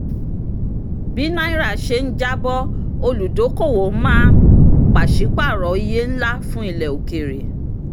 bí náírà ṣe ń jábọ́ olùdókòwò máa pàṣípàrọ̀ iye ńlá fún ilẹ̀ òkèèrè.